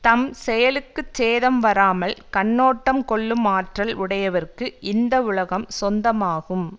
தம் செயலுக்குச் சேதம் வராமல் கண்ணோட்டம் கொள்ளும் ஆற்றல் உடையவர்க்கு இந்த உலகம் சொந்தமாகும்